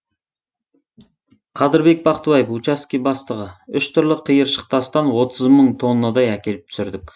қадырбек бақтыбаев учаске бастығы үш түрлі қиыршық тастан отыз мың тоннадай әкеліп түсірдік